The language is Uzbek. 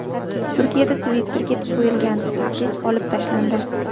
Turkiyada Twitter’ga qo‘yilgan taqiq olib tashlandi.